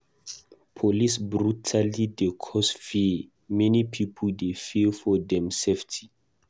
Police brutality dey cause fear; many pipo dey fear for dem safety.